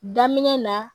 Daminɛ na